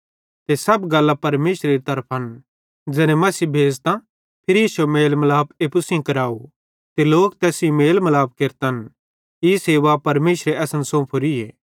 ते सब गल्लां परमेशरेरी तरफन ज़ैने मसीह भेज़तां फिरी इश्शो मेल मलाप एप्पू सेइं कराव ते लोक तैस सेइं मेल मिलाप केरन ई सेवा परमेशरे असन सौंफोरीए